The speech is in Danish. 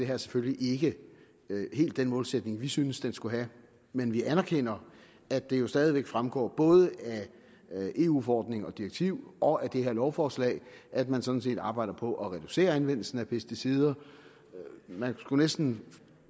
her selvfølgelig ikke helt den målsætning vi synes det skulle have men vi anerkender at det jo stadig væk fremgår både af eu forordning og direktiv og af det her lovforslag at man sådan set arbejder på at reducere anvendelsen af pesticider og man skulle næsten